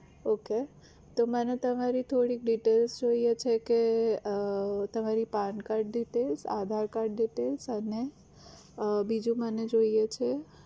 okay તો મને તમારી થોડીક details જોઈએ છે કે તમારી pan card details, aadhar card details અને બીજું મને જોઈએ છે